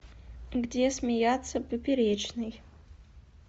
где смеяться поперечный